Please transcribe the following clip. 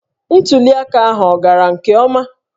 Ntuli aka ahụ ọ gara nke ọma?